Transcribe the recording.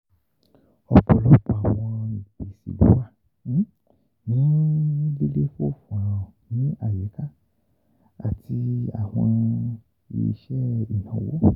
Ọpọlọpọ awọn ipese lo wa ni lilefoofo ni ayika aaye awọn iṣẹ inawo.